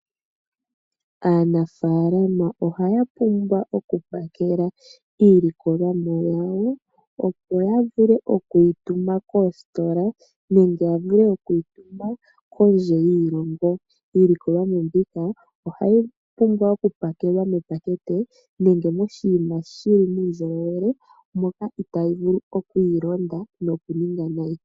Aanafaalama ohaya pumbwa oku pakela iilikolomwa yawo, opo ya vule okuyi tuma koositola nenge ya vule okuyi tuma kondje yoshilongo. Iikolomwa mbika ohayi pumbwa oku pakelwa miipakete, nenge moshiima shili muundjolowele, moka itaayi vulu okwii londa nokuninga nayi.